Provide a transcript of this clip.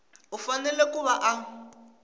u fanele ku va a